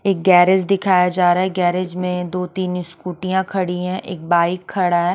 एक गेरिज दिखाया जा रहा है गेरिज में दो तीन स्कूटीया खड़ी है एक बाइक खड़ा है।